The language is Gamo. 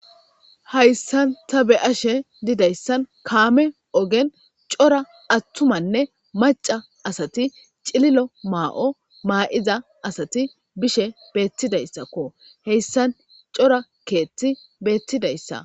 Haysan ta beyashe dizaysan kamey ogen cora atumane maca asati cililo mayo mayida asat hesan betizaytako cora kethiy betizasya